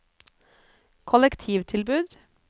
kollektivtilbud